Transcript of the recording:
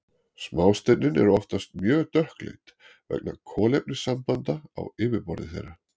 Smástirnin eru oftast mjög dökkleit vegna kolefnissambanda á yfirborði þeirra.